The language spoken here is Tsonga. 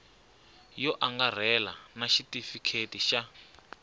yo angarhela na xitifiketi xa